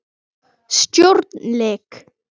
Stjórn LEK